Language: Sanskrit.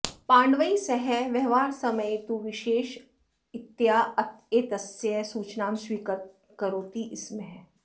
पाण्डवैः सह व्यवहारसमये तु विशेषरीत्या एतस्य सूचनां स्वीकरोति स्म